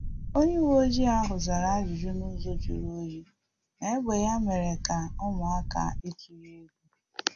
Onye uweojii ahu zara ajụjụ n’ụzọ juru onyi, ma egbe ya mere ka ụmụaka ituu egwu